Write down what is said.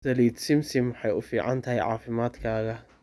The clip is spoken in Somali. saliid simsim waxay u fiican tahay caafimaadkaaga